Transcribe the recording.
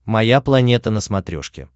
моя планета на смотрешке